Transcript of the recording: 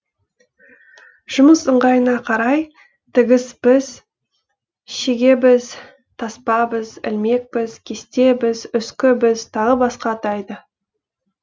жұмыс ыңғайына қарай тігіс біз шеге біз таспа біз ілмек біз кесте біз үскі біз тағы басқа атайды